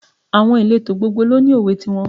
Every society has its proverb.